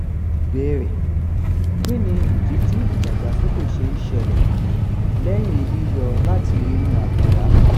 ìbéèrè: kí nìdí tí ìdagbasoke se n sele leyin yiyo lati inu abuda?